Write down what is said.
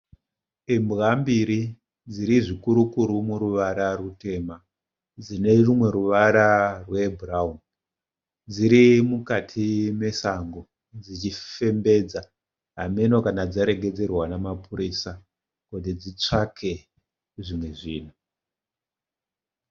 Imbwa mbiri dziri zvikuru kuru muruvara rutema dzine rumwe ruvara rwebhurawuni dziri mukati mesango dzichifembedza hamheno kana dzaregedzerwa namapurisa kuti dzitsvake zvimwe zvinhu.